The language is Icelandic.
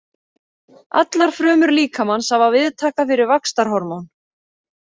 Allar frumur líkamans hafa viðtaka fyrir vaxtarhormón.